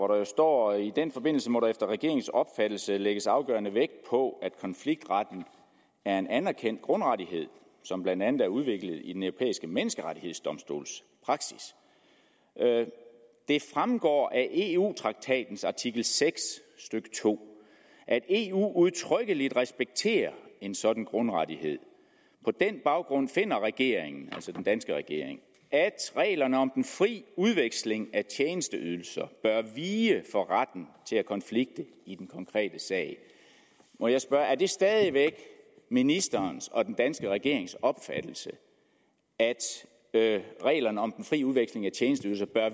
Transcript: der står i den forbindelse må der efter regeringens opfattelse lægges afgørende vægt på at konfliktretten er en anerkendt grundrettighed som blandt andet er udviklet i den europæiske menneskerettighedsdomstols praksis det fremgår af eu traktatens artikel seks stykke to at eu udtrykkeligt respekterer en sådan grundrettighed på den baggrund finder regeringen at reglerne om den fri udveksling af tjenesteydelser bør vige for retten til at konflikte i den konkrete sag må jeg spørge er det stadig væk ministerens og den danske regerings opfattelse at reglerne om den fri udveksling af tjenesteydelser bør